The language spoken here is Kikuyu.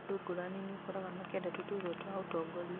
andũ ngũrani niũkoraga makĩenda tũturwa twa ũtongoria